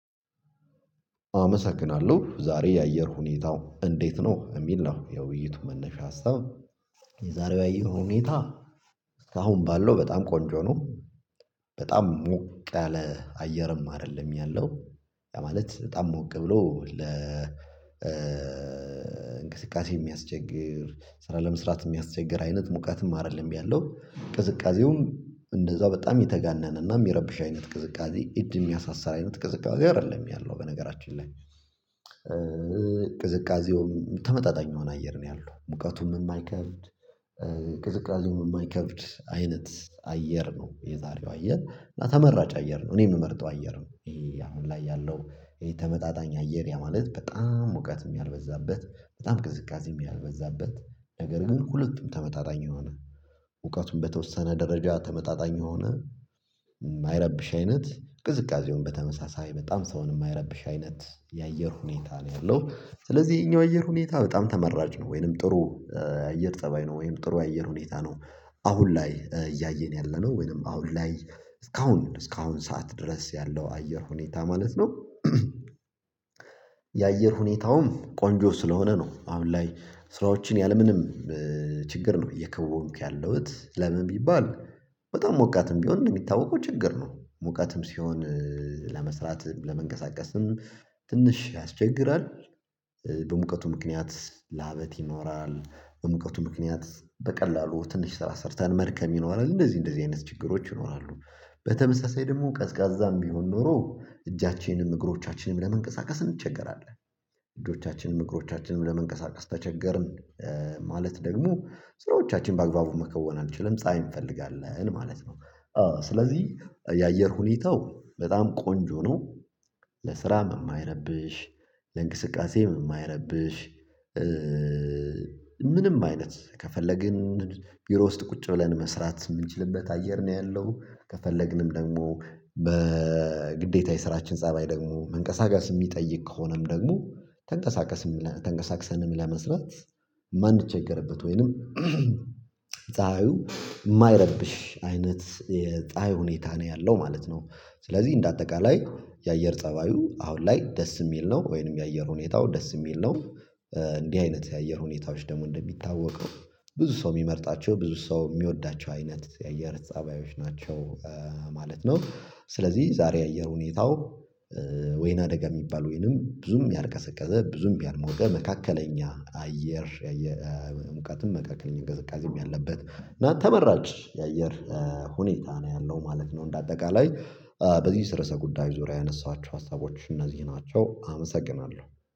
አመሰግናለሁ ዛሬ የአየር ሁኔታው እንዴት ነው? የሚል ነው የውይይቱ መነፍስ አስታው የዛሬው አየር ሁኔታ አሁን ባለው በጣም ቆንጆ ነው። በጣም ሞቀለ ያለ አየርም አይደለም ያለው። ማለት በጣም ሞቅ ብሎ ለ እንቅስቃሴ የሚያስቸግር ስራ ለመስራት የሚያስቸግር አይነት ሙቀትም አይደለም ያለው ቅዝቃዜውም እንደዛው በጣም የተጋነነና የሚረብሽ አይነት ቅዝቃዜ እድሜ የሚያሳሳ አይነት ቅዝቃዜ አይደለም ያለው በነገራችን ላይ ቅዝቃዜው ተመጣጣኝ የሆነ አየር ነው። ያለው ሙቀቱን የማይከፍት ቅዝቃዜም የማይከብድ አይነት አየር ነው። የዛሬው አየር እና ተመራጭ አየር ነው እኔ የምመርጠው አየር ነው። ይሄ አሁን ላይ ያለው ይሄ ተመጣጣኝ አየር ማለት በጣም እውቀት ያልበዛበት በጣም ቅዝቃዜ ያልበዛበት ነገር ግን ሁለቱም ተመጣጣኝ የሆነ እውቀቱን በተወሰነ ደረጃ ተመጣጣኝ የሆነ የማይረብሽ አይነት ቅዝቃዜውን በተመሳሳይ በጣም ሰውን የማይረብሽ አይነት የአየር ሁኔታ ነው ያለው። ስለዚህ ይሄኛው የአየር ሁኔታ በጣም ተመራጭ ነው ወይንም ጥሩ አየር ጠባይ ነው ወይንም ጥሩ አየር ሁኔታ ነው። አሁን ላይ እያየን ያለነው ወይንም አሁን ላይ እስካሁን እስካሁን ሰዓት ድረስ ያለው አየር ሁኔታ ማለት ነው። የአየር ሁኔታውም ቆንጆ ስለሆነ ነው አሁን ላይ ስራዎችን ያለምንም ችግር ነው እየከወንክ ያለሁት ለምን ቢባል በጣም ሞቃትም ቢሆን እንደሚታወቀው ችግር ነው ሞቃትም ሲሆን ለመስራት ለመንቀሳቀስም ትንሽ ያስቸግራል። በሙቀቱ ምክንያት ላበት ይኖራል በሙቀቱ ምክንያት በቀላሉ ትንሽ ስራ ሰርተን መድከም ይኖራል እንደዚህ እንደዚህ አይነት ችግሮች ይኖራሉ። በተመሳሳይ ደግሞ ቀዝቃዛም ቢሆን ኖሮ እጃችንንም እግሮቻችንንም ለመንቀሳቀስ እንቸገራለን እግሮቻችንንም እግሮቻችንንም ለመንቀሳቀስ ተቸገርን። ማለት ደግሞ ስራዎቻችን በአግባቡ መከወን አልችልም ፀሀይ እንፈልጋለን ማለት ነው። ስለዚህ የአየር ሁኔታው በጣም ቆንጆ ነው። ለስራም የማይረብሽ ለእንቅስቃሴም የማይረብሽ ምንም አይነት ከፈለግን ዩሮ ውስጥ ቁጭ ብለን መስራት የምንችልበት አየር ነው ያለው። ከፈለግንም ደግሞ በግዴታ የስራችን ፀባይ ደግሞ መንቀሳቀስ የሚጠይቅ ከሆነም ደግሞ ተንቀሳቀስም ተንቀሳቅሰንም ለመስራት ማን ችግርበት ወይንም ፀሀዩ የማይረብሽ አይነት የጣይ ሁኔታ ነው ያለው ማለት ነው። ስለዚህ እንደ አጠቃላይ የአየር ፀባዩ አሁን ላይ ደስ የሚል ነው ወይንም የአየር ሁኔታው ደስ የሚል ነው። እንዲህ አይነት የአየር ሁኔታዎች ደግሞ እንደሚታወቀው ብዙ ሰው የሚመርጣቸው ብዙ ሰው የሚወዳቸው አይነት የአየር ፀባዮች ናቸው። ማለት ነው ስለዚህ ዛሬ የአየር ሁኔታው ወይና ደጋ የሚባል ወይንም ብዙም ያልቀሰቀሰ ብዙም ቢያልመው መካከለኛ አየር የመካከለኛ ቅዝቃዜም ያለበት እና ተመራጭ የአየር ሁኔታ ነው ያለው ማለት ነው። እንደ አጠቃላይ በዚህ ርዕሰ ጉዳይ ዙሪያ ያነሳኋቸው ሀሳቦች እነዚህ ናቸው አመሰግናለሁ